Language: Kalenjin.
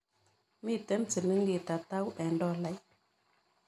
Miten silingit atau eng' tolait